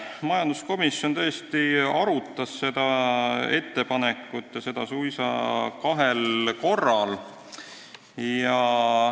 Majanduskomisjon tõesti arutas seda ettepanekut suisa kahel korral.